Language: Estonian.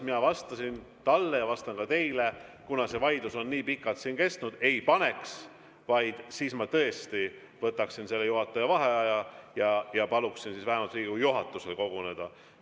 Mina vastasin talle ja vastan ka teile, et kuna see vaidlus on nii pikalt kestnud, ei paneks, vaid ma tõesti võtaksin juhataja vaheaja ja paluksin vähemalt Riigikogu juhatusel koguneda.